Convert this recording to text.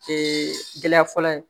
Ee gɛlɛya fɔlɔ ye